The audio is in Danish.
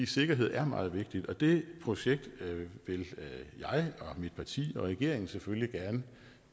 sikkerhed er meget vigtigt og det projekt vil jeg og mit parti og regeringen selvfølgelig gerne